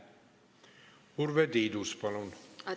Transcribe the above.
Urve Tiidus, palun!